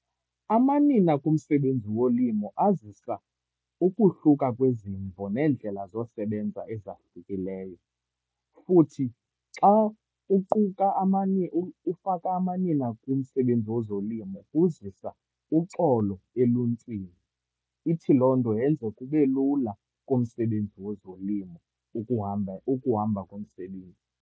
Amanina kumsebenzi wolimo azisa ukuhluka kwezimvo neendlela zosebenza ezahlukileyo. Futhi, xa uquka amanye ufaka amanina kumsebenzi wezolimo kuzisa uxolo eluntwini. Ithi loo nto yenze kube lula kumsebenzi wezolimo ukuhamba, ukuhamba komsebenzi.